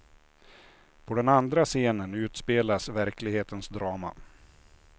På den andra scenen utspelas verklighetens drama.